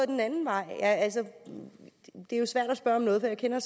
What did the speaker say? den anden vej altså det er jo svært at spørge om noget for jeg kender